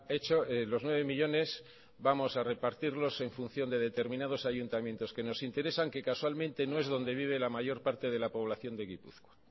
hecho los nueve millónes vamos a repartirlos en función de determinados ayuntamientos que nos interesan que casualmente no es donde vive la mayor parte de la población de gipuzkoa